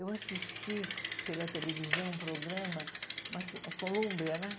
Eu assisti pela televisão um programa uma ci, é Colômbia, né?